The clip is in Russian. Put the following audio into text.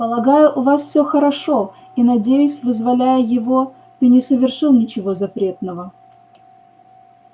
полагаю у вас всё хорошо и надеюсь вызволяя его ты не совершил ничего запретного